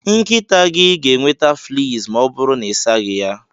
Nkịta gị ga-enweta fleas ma ọ bụrụ na ịsaghị ya.